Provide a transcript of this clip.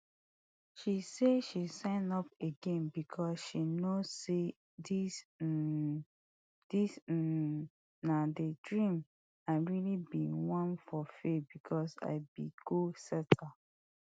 she say she sign up again becos she know say dis um dis um na di dream i really bin wan fulfil becos i be goal setter